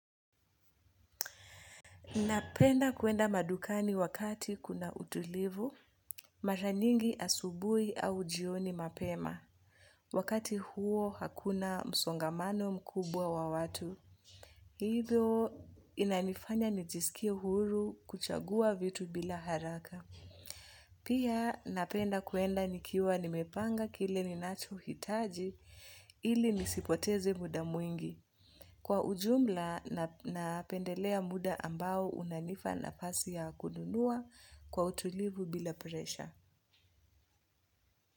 Napenda kuenda madukani wakati kuna utulivu, mara nyingi asubuhi au jioni mapema. Wakati huo hakuna msongamano mkubwa wa watu. Hivyo inanifanya nijisikie huru kuchagua vitu bila haraka. Pia napenda kuenda nikiwa nimepanga kile ninachohitaji ili nisipoteze muda mwingi. Kwa ujumla napendelea muda ambao unanipa nafasi ya kununua kwa utulivu bila presha.